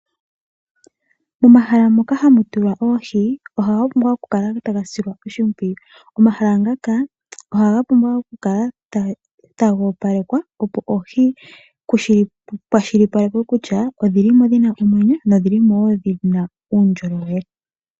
Momahala ngoka hamu tulwa oohi ohaga pumbwa okusilwa oshimpwiyu. Omahala ngaka ohaga pumbwa okukala taga opalekwa opo oohi dhikwashilipakwe kutya odhili mo dhina omwenyo nodhili mo woo dhina uundjolowele.